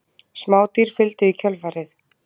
Smádýr fylgdu í kjölfarið.